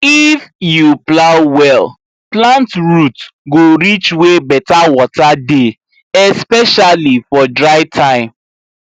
if you plow well plant root go reach where better water dey especially for dry time